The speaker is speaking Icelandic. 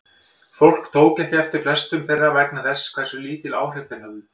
Fólk tók ekki eftir flestum þeirra vegna þess hversu lítil áhrif þeir höfðu.